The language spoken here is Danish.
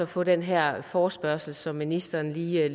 få den her forespørgsel som ministeren lige